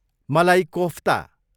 मलाई कोफ्ता